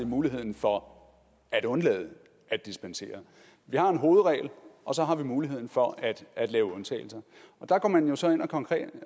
muligheden for at undlade at dispensere vi har en hovedregel og så har vi muligheden for at lave undtagelser og der går man jo så ind konkret